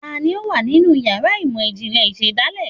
Taní o wa ninú ìyára imọ ijinlẹ ìsedálẹ?